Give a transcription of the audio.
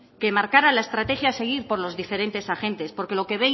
que marcara la estrategia a seguir por los diferentes agentes porque lo que